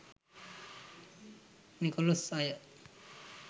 නිකෙලෙස් අය